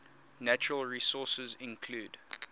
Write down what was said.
natural resources include